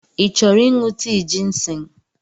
Ị chọrọ ịṅụ tii jịnsịng?